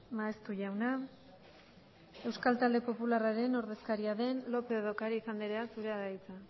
maeztu jauna euskal talde popularraren ordezkaria den lópez de ocariz anderea zurea da hitza